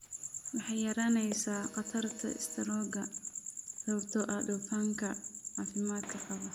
Waxay yaraynaysaa khatarta istaroogga sababtoo ah dufanka caafimaadka qaba.